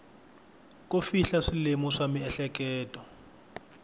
ko fihla swilemu swa miehleketo